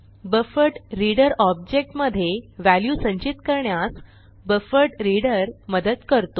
buffered reader object मधे value संचित करण्यास बफरड्रीडर मदत करतो